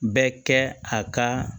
Bɛ kɛ a ka